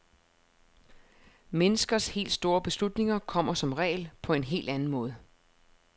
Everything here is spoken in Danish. Menneskers helt store beslutninger kommer som regel på en helt anden måde.